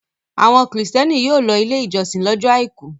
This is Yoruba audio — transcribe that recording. Àwọn Kìrìtẹ́ẹ́nì yóò lọ Ilé-ìjọsìn lọ́jọ́ àìkú.